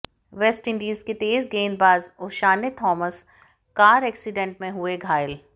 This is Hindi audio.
वेस्टइंडीज के तेज गेंदबाज ओशाने थॉमस कार एक्सीडेंट में हुए घायल